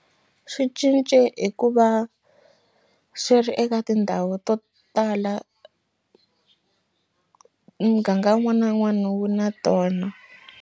Swi cince hi ku va swi ri eka tindhawu to tala muganga wun'wana na wun'wana wu na tona.